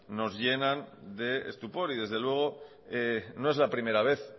nos llenan de estupor y desde luego no es la primera vez